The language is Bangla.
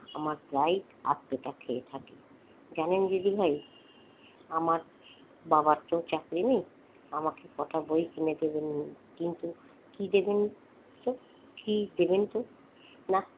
আমার প্রায় আধপেটা খেয়ে থাকে জানেন দিদিভাই আমার বাবার তো চাকরি নেই আমাকে কটা বই কিনে দেবেন কিন্তু। কি দেবেন তো?